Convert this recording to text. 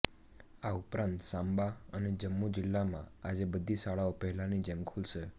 આ ઉપરાંત સાંબા અને જમ્મુ જિલ્લામાં આજે બધી શાળાઓ પહેલાની જેમ ખુલશે